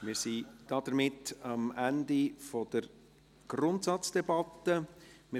Somit sind wir am Ende der Grundsatzdebatte angelangt.